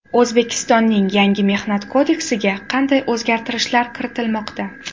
O‘zbekistonning yangi Mehnat kodeksiga qanday o‘zgarishlar kiritilmoqda?.